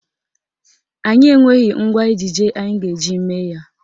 Anyị enweghị ngwa ejije anyị ga-eji mee ya.